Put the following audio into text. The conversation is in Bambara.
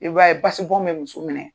I b'a ye basi bɔn bɛ muso minɛ.